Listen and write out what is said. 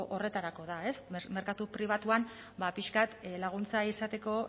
horretarako da merkatu pribatuan pixka bat laguntza izateko